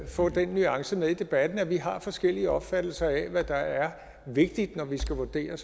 få den nuance med i debatten at vi har forskellige opfattelser af hvad der er vigtigt når vi skal vurdere